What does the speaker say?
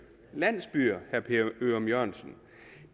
landsbyer